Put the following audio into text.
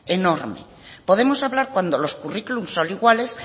enorme podemos hablar cuando los currículums son iguales